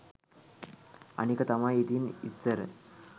අනික තමයි ඉතින් ඉස්සර